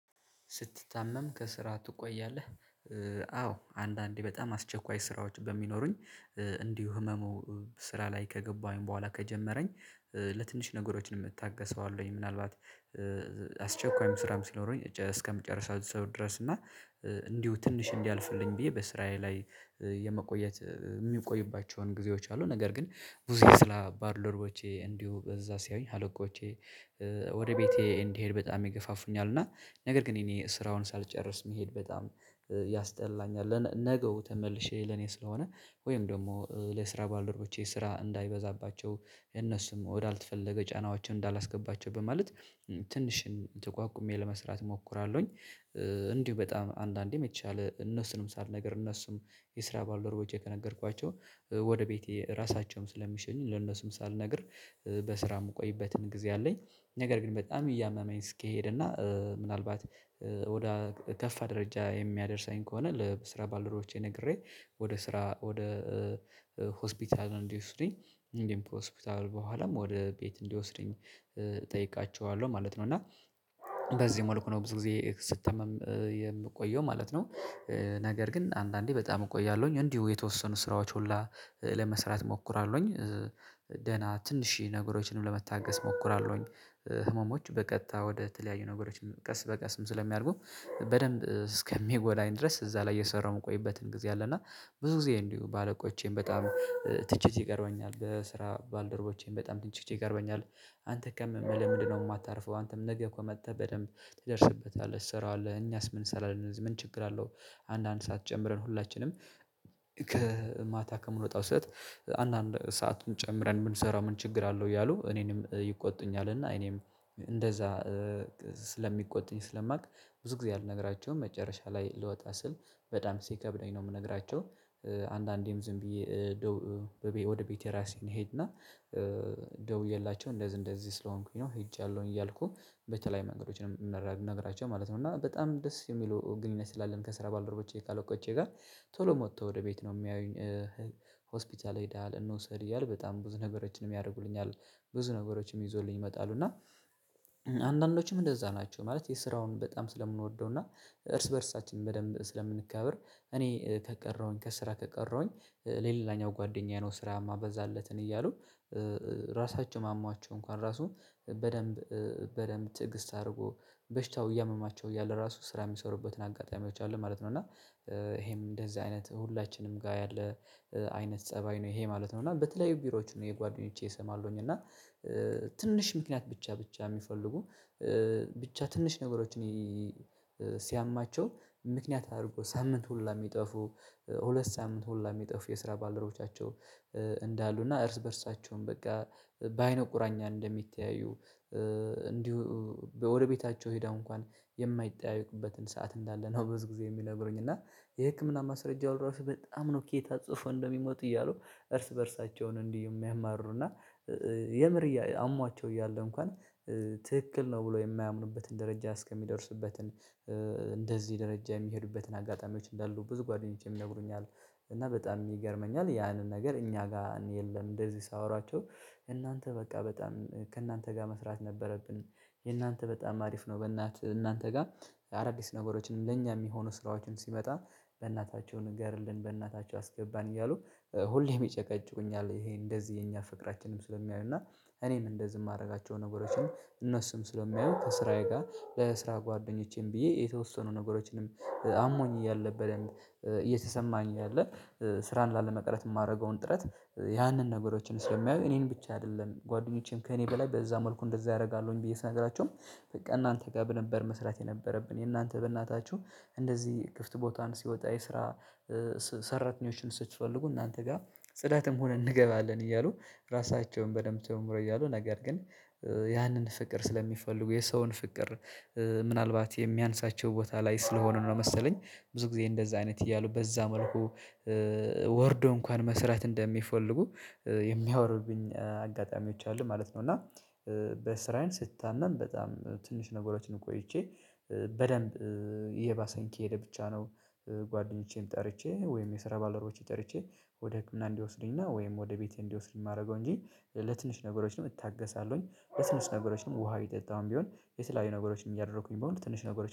ስትታመም ከስራ ትቆያለህ? አዎ አንዳንዴ በጣም አስቸኳይ ስራዎች በሚኖሩኝ። እንዲሁ ህመሙ ስራ ላይ ከገባሁኝ በኋላ ከጀመረኝ ለትንሽ ነገሮችን እ ታገሰዋለሁኝ። ምናልባት አስቸኳይም ስራም ሲኖረኝ እስከምጨርሰው ድረስ እና እንዲሁ ትንሽ እንዲያልፍልኝ ብዬ በስራዬ ላይ የምቆይባቸው ጊዜዎች አሉ። ነገር ግን ብዙ ስራ ባልደረቦቼ እዛ ሲያዩኝ አለቆቼ ወደ ቤቴ እንዲሄድ በጣም ይገፋፉኛል። እና ነገር ግን እኔ ስራውን ሳልጨርስ መሄድ በጣም ያስጠላኛል ነገው ተመልሼ ለኔ ስለሆነ ወይም ደግሞ ለስራ ባለሮቼ ስራ እንዳይበዛባቸው እነሱም ወዳልተፈለገ ጫናዎችን እንዳላስገባቸው በማለት ትንሽን ተቋቁሜ ለመስራት እሞክራለሁኝ። እንዲሁ በጣም አንዳንዴ መቻል እነሱንም ሳልነግር እነሱም የስራ ባልደርቦቼ ከነገርኳቸው ወደ ቤቴ ራሳቸውም ስለሚሸኝ ለነሱም ሳልነግር በስራ የምቆይበትን ጊዜ አለኝ። ነገር ግን በጣም እያመመኝ እስኪሄድ እና ምናልባት ወደ ከፋ ደረጃ የሚያደርሰኝ ከሆነ ለስራ ባልደርቦቼ ነግሬ ወደ ስራ ወደ እንዲወስድኝ እንዲህ ሆስፒታል በኋላም ወደ ቤት እንዲወስድኝ እጠይቃቸዋለሁ። ማለት ነው እና በዚህ መልኩ ነው ብዙ ጊዜ ስትታመም የምትቆየው ማለት ነው። ነገር ግን አንዳንዴ በጣም እቆያለሁኝ እንዲሁ የተወሰኑ ስራዎች ሁላ ለመስራት እሞክራለሁኝ። ደህና ትንሽ ነገሮችንም ለመታገስ እሞክራለሁኝ ህመሞች በቀጥታ ወደ ተለያዩ ነገሮችንም ቀስ በቀስም ስለሚያርጉ በደንብ እስከሚጎዳኝ ድረስ እዛ ላይ የሰራሁት ቆይበትን ጊዜ አለ። እና ብዙ ጊዜ እንዲሁ ባለቆቼን በጣም ትችት ይቀርብብኛል በስራ ባልደረቦቼን በጣም ትችት ይቀርብብኛል። አንተ ከምልህ ምንድነው የማታርፈው? አንተም ነገ እኮ መጥተህ በደንብ ትደርስበታለህ ትሰራዋለህ። እኛስ ምን እሰራለሁ እነዚህ ምን ችግር አለው? አንዳንድ ሰዓት ጀምረን ሁላችንም ከማታ ከምንወጣው ሰዓት አንዳንድ ሰአቱን ጨምረን የምንሰራው ምን ችግር አለው? እያሉ እኔንም ይቆጡኛል። እና እኔም እንደዛ ስለሚቆጥኝ ስለማውቅ ብዙ ጊዜ አልነግራቸውም። መጨረሻ ላይ ልወጣ ስል በጣም ሲከብደኝ ነው የምነግራቸው። አንዳንዴም ዝም ብዬ ወደ ቤቴ ራሴን እሄድና ደውዬላቸው እንደዚህ እንደዚህ ስለሆንኩኝ ነው ሄጃለሁኝ እያልኩኝ በተለይ መንገዶችን እንነግራቸው ማለት ነው። እና በጣም ደስ የሚሉ ግንኙነት ስላለን ከስራ ባልደረቦቼ ከአለቆቼ ጋር ቶሎ መጥተው ወደ ቤት ነው የሚያዩኝ። ሆስፒታል ሄደሃል እንውሰድ እያሉ በጣም ብዙ ነገሮችን ያደርጉልኛል። ብዙ ነገሮችም ይዞልኝ ይመጣሉ እና አንዳንዶችም እንደዛ ናቸው። ማለት የስራውን በጣም ስለምንወደው እና እርስ በእርሳችን በደንብ ስለምንከብር እኔ ከቀረሁኝ ከስራ ከቀረሁኝ ሌላኛው ጓደኛዬ ነው ስራ የማበዛለትን እያሉ ራሳቸው አሟቸው እንኳን ራሱ በደንብ በደንብ ትዕግስት አድርጎ በሽታው እያመማቸው እያለ ራሱ ስራ የሚሰሩበትን አጋጣሚዎች አሉ ማለት ነው። እና ይሄም እንደዚህ አይነት ሁላችንም ጋር ያለ አይነት ፀባይ ነው ይሄ ማለት ነው። እና በተለያዩ ቢሮዎች ነው የጓደኞቼ እሰማለሁኝ እና ትንሽ ምክንያት ብቻ ብቻ የሚፈልጉ ብቻ ትንሽ ነገሮችን ሲያማቸው ምክንያት አድርጎ ሳምንት ሁሉ የሚጠፉ ሁለት ሳምንት ሁሉ የሚጠፉ የስራ ባለሮቻቸው እንዳሉ እና እርስ በእርሳቸውም በቃ በአይነ ቁራኛ እንደሚተያዩ። እንዲሁ በወረቤታቸው ሄዳሁ እንኳን የማይጠያይቅበትን ሰዓት እንዳለ ነው። በብዙ ጊዜ የሚነግሩኝ እና የህክምና ማስረጃው ራሱ በጣም ነው ከየት አጽፎ እንደሚመጡ እያሉ እርስ በእርሳቸውን እንዲህ የሚያማሩ እና የምር አሟቸው እያለ እንኳን ትክክል ነው ብሎ የማያምኑበትን ደረጃ እስከሚደርስበትን እንደዚህ ደረጃ የሚሄዱበትን አጋጣሚዎች እንዳሉ ብዙ ጓደኞቼም ይነግሩኛል። እና በጣም ይገርመኛል ያንን ነገር እኛ ጋር የለም። እንደዚህ ሳወራቸው እናንተ በቃ በጣም ከእናንተ ጋር መስራት ነበረብን። የእናንተ በጣም አሪፍ ነው። በእናንተ እናንተ ጋር አዳዲስ ነገሮችንም ለኛ የሚሆነው ስራዎችን ሲመጣ በእናታቸው ንገርልን በእናታቸው አስገባን እያሉ ሁሌም ይጨቃጭቁኛል። ይሄ እንደዚህ የኛ ፍቅራችንም ስለሚያዩ እና እኔን እንደዚህ የማደርጋቸው ነገሮችን እነሱም ስለሚያዩ ከስራዬ ጋር በስራ ጓደኞቼም ብዬ የተወሰኑ ነገሮችንም አሞኝ እያለ በደንብ እየተሰማኝ ያለ ስራን ላለመቀረት የማደርገውን ጥረት ያንን ነገሮችን ስለሚያዩ እኔን ብቻ አይደለም ጓደኞቼም ከእኔ በላይ በዛ መልኩ እንደዛ ያደርጋሉኝ። ብዬ ስነግራችሁም በቃ እናንተ ጋር ነበር መስራት የነበረብን። የእናንተ በእናታችሁ እንደዚህ ክፍት ቦታን ሲወጣ የስራ ሰራተኞችን ስትፈልጉ እናንተ ጋር ጽዳትም ሆነ እንገባለን እያሉ ራሳቸውን በደንብ ጨምሮ እያሉ ነገር ግን ያንን ፍቅር ስለሚፈልጉ የሰውን ፍቅር ምናልባት የሚያንሳቸው ቦታ ላይ ስለሆነ ነው። መሰለኝ ብዙ ጊዜ እንደዛ አይነት እያሉ በዛ መልኩ ወርዶ እንኳን መስራት እንደሚፈልጉ የሚያወሩብኝ አጋጣሚዎች አሉ ማለት ነው። እና በስራዬን ስታመም በጣም ትንሽ ነገሮችን ቆይቼ በደንብ እየባሰኝ የሄደ ብቻ ነው። ጓደኞቼም ጠርቼ ወይም የስራ ባለሮቼ ጠርቼ ወደ ህክምና እንዲወስዱኝና ወይም ወደ ቤቴ እንዲወስዱኝ የማደርገው እንጂ ለትንሽ ነገሮች እታገሳለሁኝ። ትንሽ ነገሮችንም ውሃ ቢጠጣውም ቢሆን የተለያዩ ነገሮችንም እያደረኩኝ በሙሉ ትንሽ ነገሮችን